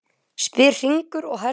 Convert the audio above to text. spyr Hringur og hermir allt eftir.